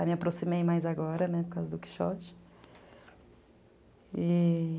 Aí me aproximei mais agora, por causa do Quixote.